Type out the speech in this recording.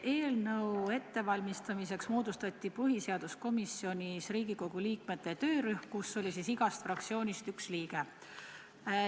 Eelnõu ettevalmistamiseks moodustati põhiseaduskomisjonis Riigikogu liikmete töörühm, kus oli igast fraktsioonist üks liige.